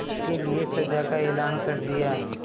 उसके लिए सजा का ऐलान कर दिया